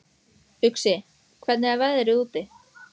Uxi, hvernig er veðrið úti?